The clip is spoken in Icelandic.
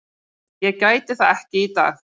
Ég gæti það ekki í dag.